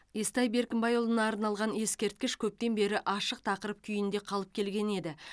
естай беркімбайұлына арналған ескерткіш көптен бері ашық тақырып күйінде қалып келген еді